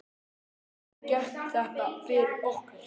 Getur þú gert þetta fyrir okkur?